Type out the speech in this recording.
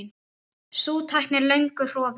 Sú tækni er löngu horfin.